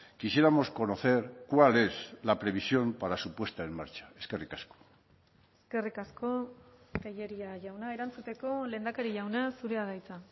quisiéramos conocer cuál es la previsión para su puesta en marcha eskerrik asko eskerrik asko tellería jauna erantzuteko lehendakari jauna zurea da hitza